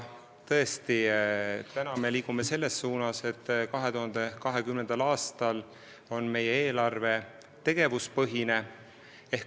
Tõesti, me liigume selles suunas, et 2020. aastal oleks eelarve tegevuspõhine.